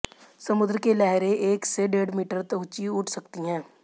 समुद्र की लहरें एक से डेढ़ मीटर ऊंची उठ सकती हैं